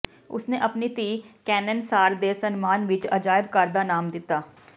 ਉਸਨੇ ਆਪਣੀ ਧੀ ਕੇੈਨੇਨ ਸਾਰ ਦੇ ਸਨਮਾਨ ਵਿੱਚ ਅਜਾਇਬ ਘਰ ਦਾ ਨਾਮ ਦਿੱਤਾ